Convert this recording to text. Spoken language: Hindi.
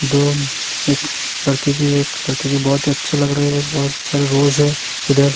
दो एक लड़की के लड़की के बहुत ही अच्छा लग रहे है बहुत सारे रोज है इधर।